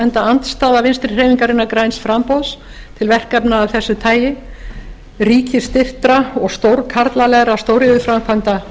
enda andstaða vinstri hreyfingarinnar græns framboðs til verkefna af þessu tagi ríkisstyrktra og stórkarlalegra stóriðjuframkvæmda